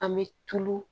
An bɛ tulu